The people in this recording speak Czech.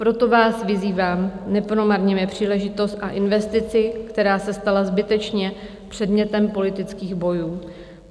Proto vás vyzývám, nepromarněme příležitost a investici, která se stala zbytečně předmětem politických bojů.